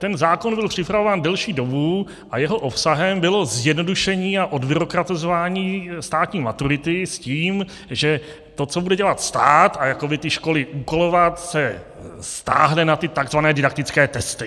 Ten zákon byl připravován delší dobu a jeho obsahem bylo zjednodušení a odbyrokratizování státní maturity s tím, že to, co bude dělat stát a jakoby ty školy úkolovat, se stáhne na ty tzv. didaktické testy.